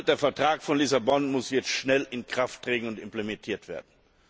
Der Vertrag von Lissabon muss jetzt schnell in Kraft treten und implementiert werden.